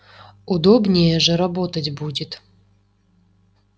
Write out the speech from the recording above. удобнее же работать будет